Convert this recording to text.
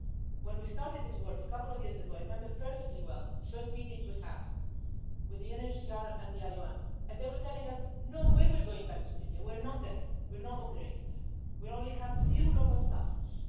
When we started this work a couple of years ago, I remember perfectly well the first meetings we had with the UNCHR and the IOM, and they were telling us no way we're going back to Libya, we're not there, we're not operating there, we only have a few local staff.'